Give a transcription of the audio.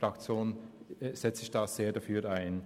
Dafür setzt sich die EDU ein.